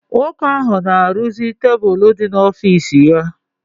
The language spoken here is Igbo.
Nwoke ahụ na-arụzi tebụl dị n'ọfiisi ya.